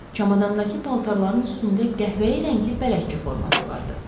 Çamadandakı paltarların üstündə qəhvəyi rəngli bələdçi forması vardı.